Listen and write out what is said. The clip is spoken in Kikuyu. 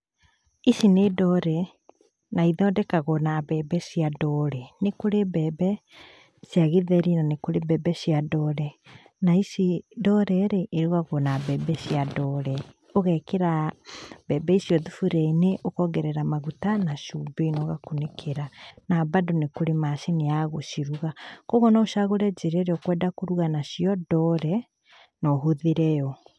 Ici nĩ ndore, naithondekagũo na mbembe cia ndore. Nĩkũrĩ mbembe, cia gĩtheri na nĩ kũrĩ mbembe cia ndore. Na ici ndore-rĩ, ĩrugagũo na mbembe cia ndore. Ũgekĩra mbembe icio thaburia-inĩ, ũkongerera maguta na cumbĩ, na ũgakunĩkĩra. Na bado nĩkũrĩ macini ya gũciruga. Kuoguo no ũcagũre njĩra ĩrĩa ũkwenda kũruga nacio ndore, na ũhũthĩre yo.